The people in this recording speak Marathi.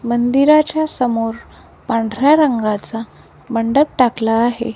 मंदिराच्या समोर पांढऱ्या रंगाचा मंडप टाकला आहे.